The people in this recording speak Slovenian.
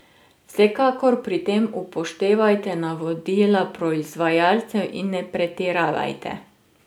Vsekakor pri tem upoštevajte navodila proizvajalcev in ne pretiravajte.